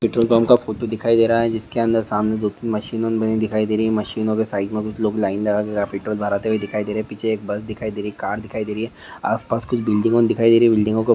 petrol pump का photo दिखाई दे रहा है जिसके अंदर सामने दो तीन मशीनों बनी दिखाई दे रही है मशीनों के साइड मे लोग लाइन लगा के पेट्रोल भरते हुए दिखाई दे रहे है पीछे एक बस दिखाई देरी कार दिखाई दे रही है आसपास कुछ बिल्डिगों दिखाई दे रही है बिल्डिंगों को